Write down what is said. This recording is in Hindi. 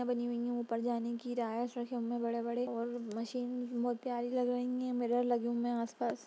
बनी हुई है ऊपर जाने की बड़े-बड़े और मशीन बहुत प्यारे लग रही हैं मिरर लगे हुए हैं आसपास।